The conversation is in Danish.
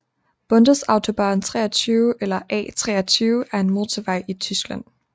Bundesautobahn 23 eller A 23 er en motorvej i Tyskland